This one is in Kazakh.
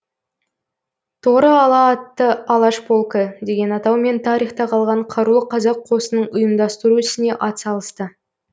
торы ала атты алаш полкі деген атаумен тарихта қалған қарулы қазақ қосынын ұйымдастыру ісіне ат салысты